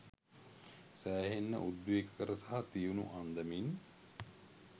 සෑහෙන්න උද්වේගකර සහ තියුණු අන්දමින්